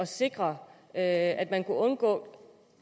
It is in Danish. sikre at man kunne undgå